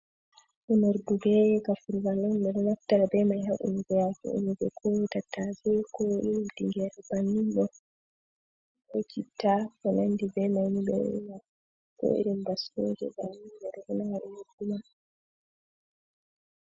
Unordu bee gafurgal on ɓe ɗo naftira bee may, haa unugo haako, unugo koo tattase, koo iri tingeere bannin ɗo, koo citta, ko nanndi bee nanmi ɗo ɓe ɗo una, koo irin baskooje bannin, ɓe ɗo una haa unordu may.